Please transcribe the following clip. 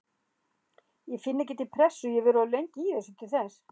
Ég finn ekki til pressu, ég hef verið of lengi í þessu til þess.